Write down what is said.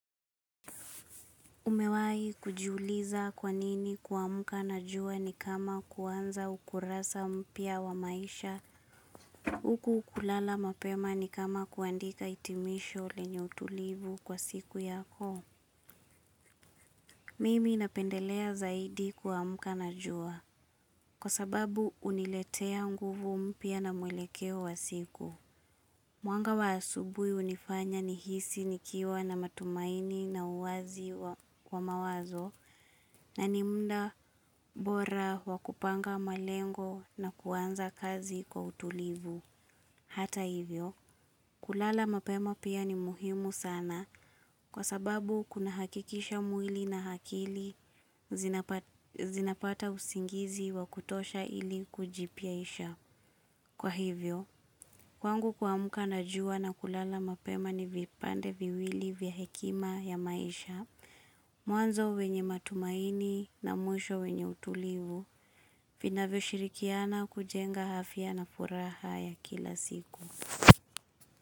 Umewai kujiuliza kwa nini kuamka na jua ni kama kuanza ukurasa mpya wa maisha. Huku kulala mapema ni kama kuandika hitimisho lenye utulivu kwa siku yako. Mimi napendelea zaidi kuamka na jua. Kwa sababu huniletea nguvu mpya na mwelekeo wa siku. Mwanga wa asubuhi hunifanya nihisi nikiwa na matumaini na uwazi wa mawazo. Na ni muda bora wa kupanga malengo na kuanza kazi kwa utulivu. Hata hivyo, kulala mapema pia ni muhimu sana kwa sababu kunahakikisha mwili na akili zinapata usingizi wa kutosha ili kujipyaisha. Kwa hivyo, kwangu kuamka na jua na kulala mapema ni vipande viwili vya hekima ya maisha. Mwanzo wenye matumaini na mwisho wenye utulivu vinavyoshirikiana kujenga afya na furaha ya kila siku.